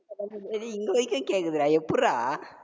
டேய் டேய் இங்க வரைக்கு கேக்குதுடா எப்புட்றா